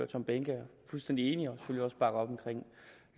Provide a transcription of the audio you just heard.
tom behnke er fuldstændig enige